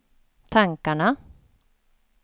tankarna